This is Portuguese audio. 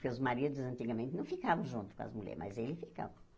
Porque os maridos antigamente não ficavam junto com as mulheres, mas ele ficava.